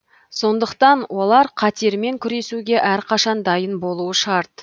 сондықтан олар қатермен күресуге әрқашан дайын болуы шарт